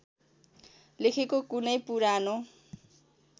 लेखेको कुनै पुरानो